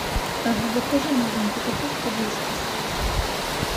закажи маленькую упаковку вискас